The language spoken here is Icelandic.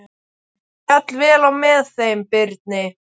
Féll vel á með þeim Birni.